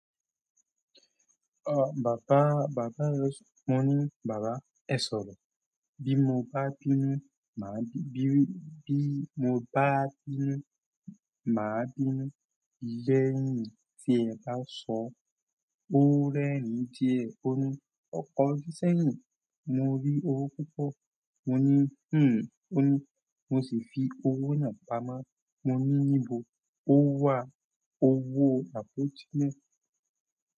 Ọ̀, bàbá, bàbá rẹ, mo ní, "bàbá ẹ sọ̀rọ̀, bí mo bá bínú, màá bí, bí, bí mo bá bínú, màá bínú lẹ́yìn tí ẹ bá sọ." Ó rẹ́rìn ín díẹ̀, ó ní, "ọ̀kọ̀ju sẹ́yìn, mo rí owó púpọ̀." Mo ní, "hun." Ó ní, "mo sì fi owó náà pamọ́." Mo ní, "níbo?" Ó wá owó àpótí náà.